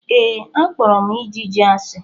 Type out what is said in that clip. Ee, akpọrọ m ijiji asi.